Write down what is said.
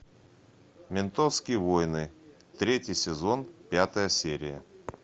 ментовские войны третий сезон пятая серия